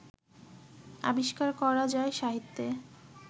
আবিষ্কার করা যায় সাহিত্যে